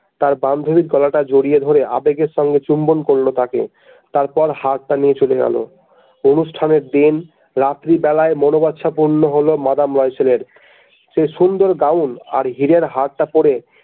তাঁর বান্ধবীর গলাটা জড়িয়ে ধরে আবেগের সঙ্গে চুম্বন করলো তাকে তারপর হারটা নিয়ে চলে গেল অনুষ্ঠানের দিন রাত্রিবেলায় মনবাচ্ছা পূর্ণ হল মাদাম লয়সেলের সেই সুন্দর গ্রাউন আর হীরের হারটা পড়ে।